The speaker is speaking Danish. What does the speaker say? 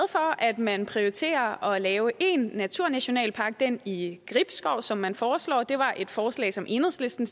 at man prioriterer at lave en naturnationalpark den i gribskov som man foreslår det var et forslag som enhedslisten